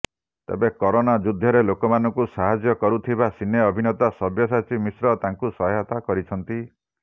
ତେବେ କରୋନା ଯୁଦ୍ଧରେ ଲୋକମାନଙ୍କୁ ସାହାଯ୍ୟ କରୁଥିବା ସିନେ ଅଭିନେତା ସବ୍ୟସାଚୀ ମିଶ୍ର ତାଙ୍କୁ ସହାୟତା କରିଛନ୍ତି